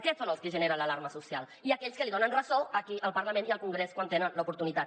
aquests són els que generen l’alarma social i aquells que li donen ressò aquí al parlament i al congrés quan en tenen l’oportunitat